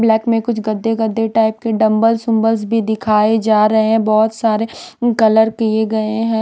Black में कुछ गद्दे गद्दे टाइप के डंबल सुंबल्स भी दिखाए जा रहे हैं बहुत सारे कलर किए गए हैं।